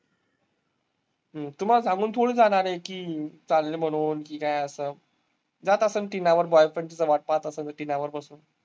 हम्म तुम्हाला सांगून थोडीच जाणार आहे की चालले म्हणून की काय असं. जात असंन ती boyfriend